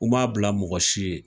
U ma bila mɔgɔ si ye.